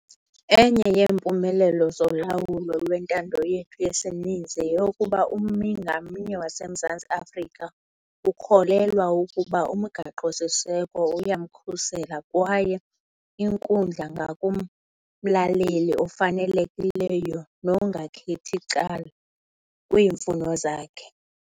Enye yeempumelelo zolawulo lwentando yethu yesininzi yeyokuba ummi ngamnye waseMzantsi Afrika ukholelwa ukuba uMgaqo-siseko uyamkhusela kwaye inkundla ngumlamleli ofanelekileyo nongakhethi cala kwiimfuno zakhe.